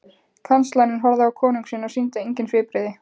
Kanslarinn horfði á konung sinn og sýndi engin svipbrigði.